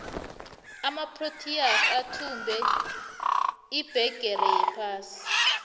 amaproteas athumbe ibhigiri yephasi